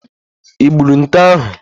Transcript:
I gburu nte ahụ?